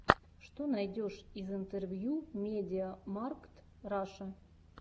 что найдешь из интервью медиамаркт раша